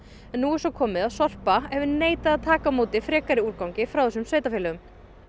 nú er svo komið að Sorpa neitar að taka á móti frekari úrgangi frá þessum sveitarfélögum